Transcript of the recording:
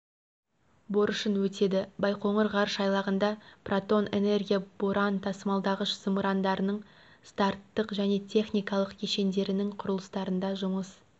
борышын өтеді байқоңыр ғарыш айлағында протон энергия-боран тасымалдағыш зымырандарының старттық және техникалық кешендерінің құрылыстарында жұмыс